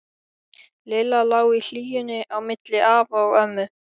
Lilla lá í hlýjunni á milli afa og ömmu.